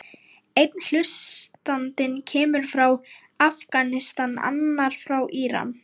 Einn hlustandinn kemur frá Afganistan, annar frá Íran.